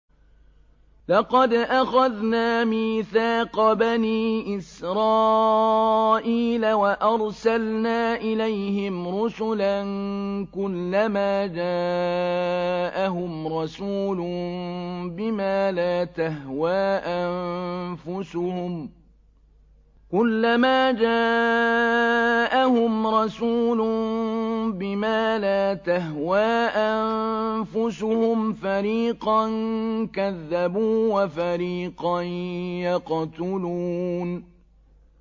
لَقَدْ أَخَذْنَا مِيثَاقَ بَنِي إِسْرَائِيلَ وَأَرْسَلْنَا إِلَيْهِمْ رُسُلًا ۖ كُلَّمَا جَاءَهُمْ رَسُولٌ بِمَا لَا تَهْوَىٰ أَنفُسُهُمْ فَرِيقًا كَذَّبُوا وَفَرِيقًا يَقْتُلُونَ